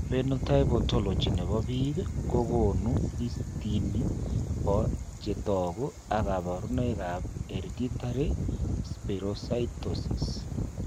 Phenotype ontology nebo biik kokoonu listini bo chetogu ak kabarunoik ab Hereditary spherocytosis